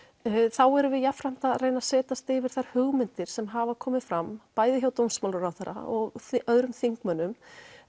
þá erum við jafnframt að reyna að setjast yfir þær hugmyndir sem hafa komið fram bæði hjá dómsmálaráðherra og öðrum þingmönnum